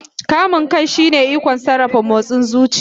Kamun kai shine ikon sarrafa motsin zuciya.